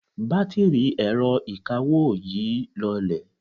batiri ẹrọ ìkawó yi lọlẹ